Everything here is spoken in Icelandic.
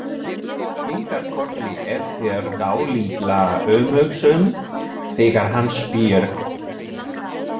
Kinkar kolli eftir dálitla umhugsun þegar hann spyr.